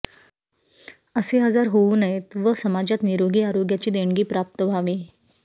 असे आजार होऊ नयेत व समाजात निरोगी आरोग्याची देणगी प्राप्त व्हावी